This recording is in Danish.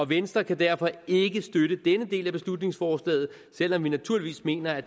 venstre kan derfor ikke støtte denne del af beslutningsforslaget selv om vi naturligvis mener at